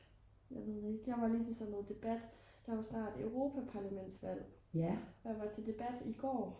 jeg ved ikke jeg var lige til sådan noget debat der er jo snart europaparlamentsvalg og jeg var til debat i går